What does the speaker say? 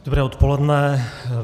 Dobré odpoledne.